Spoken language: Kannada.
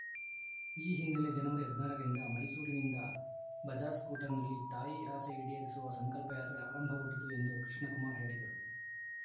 ಈ ಹಿನ್ನೆಲೆ ಜನವರಿ ಹದಿನಾರರಿಂದ ಮೈಸೂರಿನಿಂದ ಬಜಾಜ್‌ ಸ್ಕೂಟರ್‌ನಲ್ಲಿ ತಾಯಿ ಆಸೆ ಈಡೇರಿಸುವ ಸಂಕಲ್ಪ ಯಾತ್ರೆ ಆರಂಭಗೊಂಡಿತು ಎಂದು ಕೃಷ್ಣಕುಮಾರ್‌ ಹೇಳಿದರು